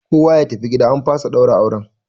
Kowa ya tafi gida an fasa ɗaura auren!